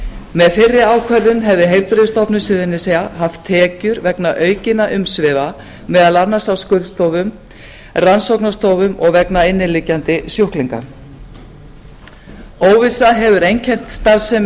með fyrri ákvörðun hefði heilbrigðisstofnun suðurnesja haft tekjur vegna aukinna umsvifa meðal annars á skurðstofum rannsóknarstofum og vegna inniliggjandi sjúklinga óvissa hefur einkennt starfsemi